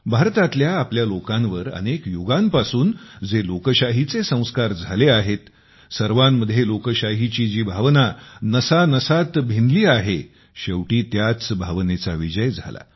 भारतातल्या आपल्या लोकांवर अनेक युगांपासून जे लोकशाहीचे संस्कार झाले आहेत सर्वांमध्ये लोकशाहीची जी भावना नसानसांमध्ये भिनली आहे शेवटी त्याच भावनेचा विजय झाला